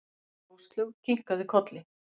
Áslaug kinkaði kolli.